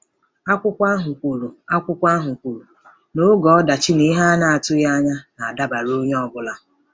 Akwụkwọ ahụ kwuru Akwụkwọ ahụ kwuru na “oge ọdachi na ihe a na-atụghị anya ya na-adabara onye ọ bụla.